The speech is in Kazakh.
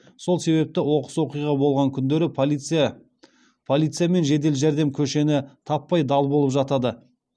сол себепті оқыс оқиға болған күндері полиция мен жедел жәрдем көшені таппай дал болып жатады